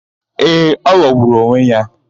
Ee, ọ ghọgburu onwe ya.